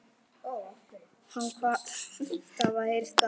Hann kvaðst hafa heyrt að